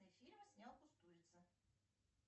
фильм снял кустурица